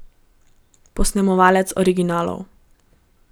Posnemovalcev originalov.